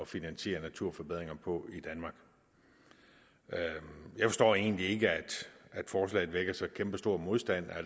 finansiere naturforbedringer på i danmark jeg forstår egentlig ikke at forslaget vækker så kæmpestor modstand